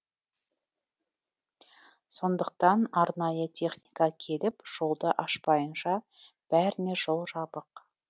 сондықтан арнайы техника келіп жолды ашпайынша бәріне жол жабық